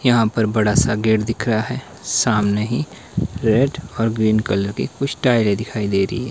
यहां पर बड़ा सा गेट दिख रहा है सामने ही रेड और ग्रीन कलर की कुछ टायरे दिखाई दे रही--